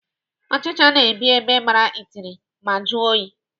Ọchịcha na-ebi ebe gbara itiri ma jụọ oyi.